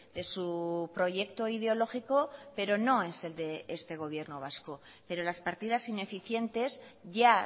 de su proyecto ideológico pero no es el de este gobierno vasco pero las partidas ineficientes ya